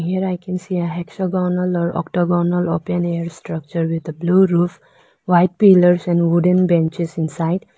Here I can see a hexagonal or octagonal open air structure with a blue roof white pillars and wooden benches inside.